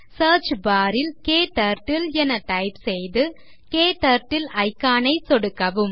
search bar ல் KTurtleஎன type செய்து க்டர்ட்டில் icon ன் மீது சொடுக்கவும்